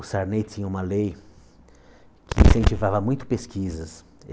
O Sarney tinha uma lei que incentivava muito pesquisas.